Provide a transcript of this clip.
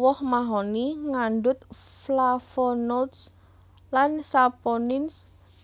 Woh mahoni ngandhut Flavonolds lan Saponins